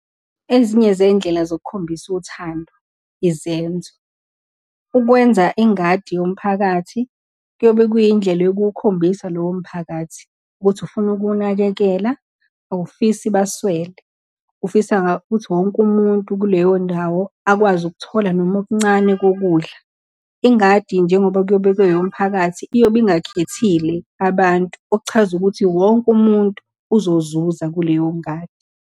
Ezinye zey'ndlela zokukhombisa uthando, izenzo. Ukwenza ingadi yomphakathi kuyobe kuyindlela yokuwukhombisa lowo mphakathi ukuthi ufuna ukuwunakekela, awufisi baswele, ufisa ukuthi wonke umuntu kuleyo ndawo akwazi ukuthola noma okuncane kokudla. Ingadi njengoba kuyobe kungeyomphakathi, iyobe ingakhethile abantu, okuchaza ukuthi wonke umuntu uzozuza kuleyo ngadi.